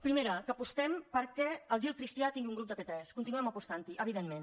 primera que apostem perquè el gil cristià tingui un grup de p3 continuem apostant hi evidentment